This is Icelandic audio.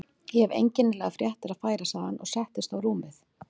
Ég hef einkennilegar fréttir að færa sagði hann og settist á rúmið hjá